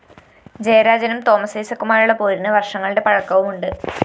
ജയരാജനും തോമസ് ഐസക്കുമായുള്ള പോരിന് വര്‍ഷങ്ങളുടെ പഴക്കവുമുണ്ട്